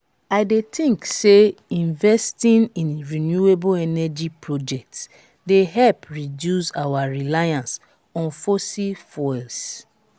i dey think say investing in renewable energy projects dey help reduce our reliance on fossil fuels.